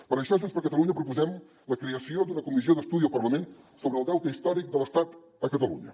per això junts per catalunya proposem la creació d’una comissió d’estudi al parlament sobre el deute històric de l’estat a catalunya